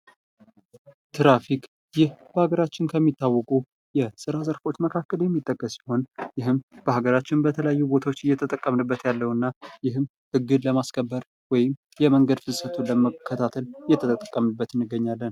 ትራፊክ ይህ በአገራችን ከሚታወቁ የስራ ዘርፎች መካከል የሚጠቀስ ሲሆን ይህም በሀገራችን በተለያዩ ቦታዎች እየተጠቀምንበት ያለው እና ይህም ህግን ለማስከበር ወይም የመንገድ ፍሰቱን ለመከታተል እየተጠቀምንበት እንገኛለን።